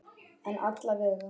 En alla vega.